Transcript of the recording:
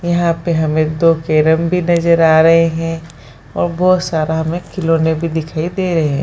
यहाँ पर हमें दो कैरम भी नजर आ रहे है बहुत सारा हमे खिलौने भी दिखाई दे रहे है।